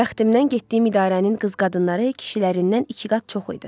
Bəxtimdən getdiyim idarənin qız-qadınları kişilərindən iki qat çox idi.